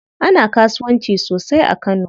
Ana kasuwanci sosai a kano.